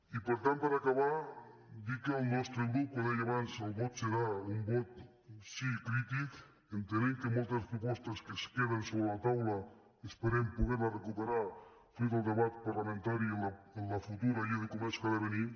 i per tant per acabar dir que pel nostre grup com deia abans el vot serà un vot sí crític entenent que moltes propostes que es queden sobre la taula esperem poder les recuperar fruit del debat parlamentari en la futura llei de comerç que ha de venir